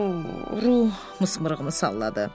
Ru mızmırığını salladı.